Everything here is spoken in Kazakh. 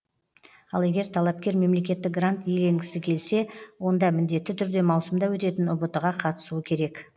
ал егер талапкер мемлекеттік грант иеленгісі келсе онда міндетті түрде маусымда өтетін ұбт ға қатысуы керек